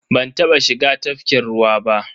Ban taba shiga tafkin ruwa ba.